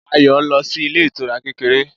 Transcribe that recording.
Ayọ̀ lọ sí ilé ìtura kékeré